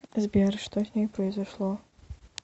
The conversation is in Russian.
сбер что с ней произошло